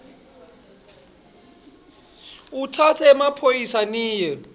utsatse emaphoyisa niye